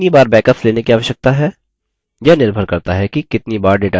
हमें कितनी बार backups लेने की आवश्यकता है